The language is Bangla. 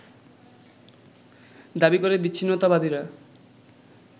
দাবী করে বিচ্ছিন্নতাবাদীরা